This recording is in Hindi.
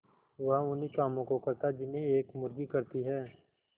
वह उन्ही कामों को करता जिन्हें एक मुर्गी करती है